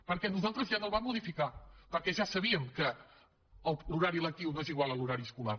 perquè nosaltres ja no el vam modificar perquè ja sabíem que l’horari lectiu no és igual a l’horari escolar